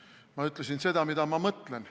Ma olen öelnud seda, mida ma mõtlen.